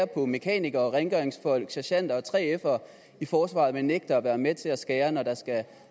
på mekanikere rengøringsfolk sergenter og 3fere i forsvaret men nægter at være med til at skære ned når der skal